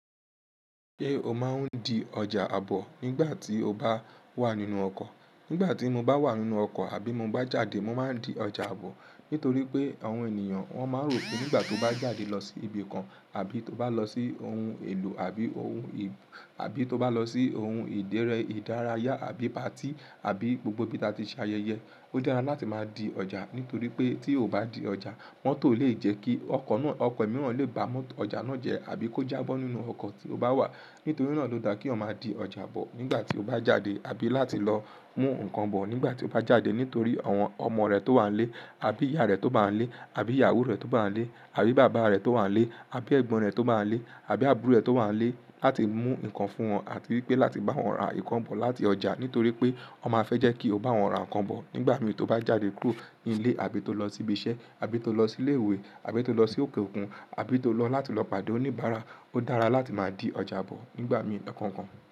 Ṣé o máa ń di ọjà àbọ̀ nígbà tí o bá wà nínú ọkọ̀? Nígbà tí mo bá wà nínú ọkọ̀ àbí mo bá jáde, mo máa ń di ọjà àbọ̀. Nítorí pé àwọn ènìyàn wọn máa rò pé nígbà tó bá jáde lọ sí ibi kan àbí tó bá lọ sí ohun èlò àbí tó bá lọ sí ohun ìdére, ìdárayá àbí patí àbí gbogbo bi ta ti ṣe ayẹyẹ, ó dára láti máa di ọjà. Nítorí pé tí o ò bá di ọjà, motọ́ le jẹ́ kí ọkọ̀ mìíràn lè bá ọjà náà jẹ àbí kó jábọ́ nínú ọkọ̀ tí ó bá wà. Nítorí náà ló dáa kí o máa di ọjà àbọ̀ nígbà tí o bá jáde àbí láti lọ mú nǹkan bọ̀ nígbà tí o bá jáde. Nítorí àwọn ọmọ rẹ tó wà n lé àbí ìyá rẹ tó bá ń lé àbí ìyàwó rẹ tó bá ń lé àbí bàbá rẹ tó wà lé àbí ẹ̀gbọ́n rẹ tó bá ń lé àbí àbúrò rẹ tó wà lé láti mú nǹkan fún wọn àbí pé láti bá wọn ra nǹkan bọ̀ láti ọjà. Nítorí pé wọn máa fẹ́ jẹ́ kí o bá wọn ra nǹkan bọ̀ nígbà mìín tó bá jáde kúrò nílé àbí tó lọ sí ibi iṣẹ́ àbí tó lọ sí ilé ìwé àbí tó lọ sí òkè òkun àbí tó lọ láti lọ pàdé oníbàárà. Ó dára láti máa di ọjà àbọ̀ nígbà mìíràn kankan.